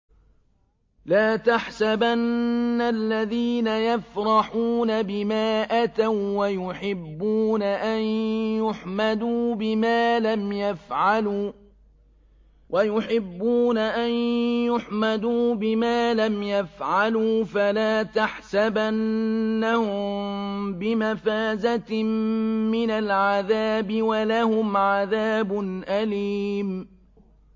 لَا تَحْسَبَنَّ الَّذِينَ يَفْرَحُونَ بِمَا أَتَوا وَّيُحِبُّونَ أَن يُحْمَدُوا بِمَا لَمْ يَفْعَلُوا فَلَا تَحْسَبَنَّهُم بِمَفَازَةٍ مِّنَ الْعَذَابِ ۖ وَلَهُمْ عَذَابٌ أَلِيمٌ